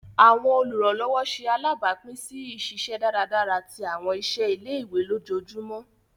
Awọn oluranlọwọ ṣe alabapin si iṣiṣẹ dáradára ti awọn iṣẹ ile-iwe lójoojúmó